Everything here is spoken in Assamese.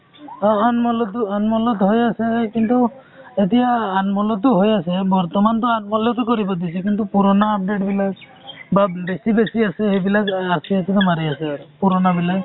অ আমোল টো আমোল ত হৈ আছে কিন্তু এতিয়া আমোল টো হৈ আছে বৰ্তমান টো আমোল টো কৰিব দিছে কিন্তু পূৰনা update বিলাক বা বেছি বেছি আছে সেইবিলাক RCH তে মাৰি আছো আৰু পূৰনা বিলাক